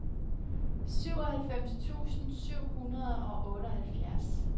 syvoghalvfems tusind syv hundrede og otteoghalvfjerds